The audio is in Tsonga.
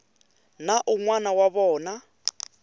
na un wana wa vona